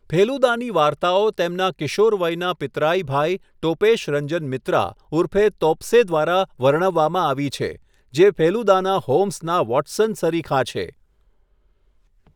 ફેલુદાની વાર્તાઓ તેમના કિશોરવયના પિતરાઈ ભાઈ ટોપેશ રંજન મિત્રા ઉર્ફે તોપ્સે દ્વારા વર્ણવવામાં આવી છે, જે ફેલુદાના હોમ્સના વોટસન સરીખા છે.